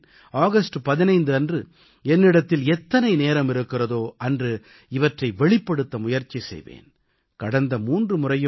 நானே அவற்றைப் படிக்கிறேன் ஆகஸ்ட் 15 அன்று என்னிடத்தில் எத்தனை நேரம் இருக்கிறதோ அன்று இவற்றை வெளிப்படுத்த முயற்சி செய்வேன்